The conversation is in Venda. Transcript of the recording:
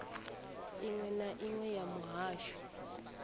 inwe na inwe ya muhasho